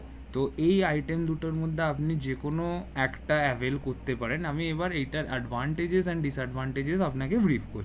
তো এই item দুটোর মধ্যে আপনি যে কোন একটা avel করতে পারেন আমি এবার এই টা advantage disadvantage আপনাকে